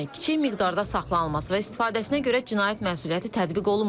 Yəni kiçik miqdarda saxlanılması və istifadəsinə görə cinayət məsuliyyəti tətbiq olunmur.